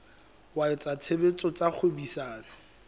wa etsa tshebetso tsa kgwebisano